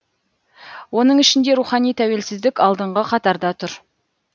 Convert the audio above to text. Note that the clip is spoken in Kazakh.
оның ішінде рухани тәуелсіздік алдыңғы қатарда тұр